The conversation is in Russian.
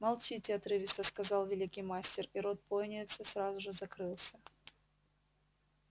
молчите отрывисто сказал великий мастер и рот пониетса сразу же закрылся